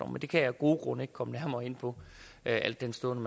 det kan jeg af gode grunde ikke komme nærmere ind på al den stund